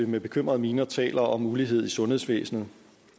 med bekymrede miner taler om ulighed i sundhedsvæsenet